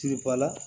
Kilibala